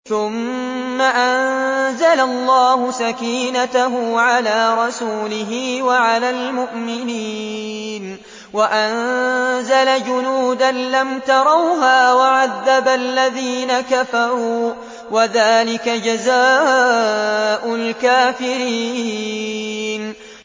ثُمَّ أَنزَلَ اللَّهُ سَكِينَتَهُ عَلَىٰ رَسُولِهِ وَعَلَى الْمُؤْمِنِينَ وَأَنزَلَ جُنُودًا لَّمْ تَرَوْهَا وَعَذَّبَ الَّذِينَ كَفَرُوا ۚ وَذَٰلِكَ جَزَاءُ الْكَافِرِينَ